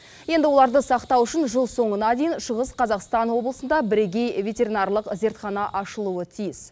енді оларды сақтау үшін жыл соңына дейін шығыс қазақстан облысында бірегей ветеринарлық зертхана ашылуы тиіс